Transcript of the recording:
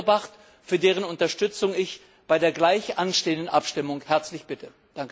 1 eingebracht, für dessen Unterstützung ich bei der gleich anstehenden Abstimmung herzlich bitte.